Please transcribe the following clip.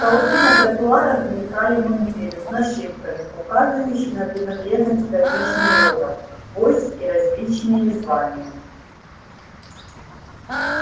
в толпе на тротуарах мелькали мундиры с нашивками указывавшими на принадлежность к различным родам войск и различные звания